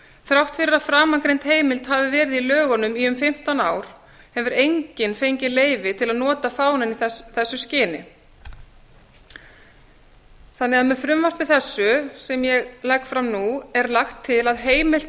þrátt fyrir að framangreind heimild hafi verið í lögunum í um fimmtán ár hefur enginn fengið leyfi til að nota fánann í þessu skyni með frumvarpi þessu sem ég legg fram nú er lagt til að heimilt